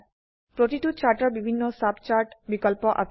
প্ৰতিটো চাৰ্টৰ বিভিন্ন সাব চাৰ্ট বিকল্প আছে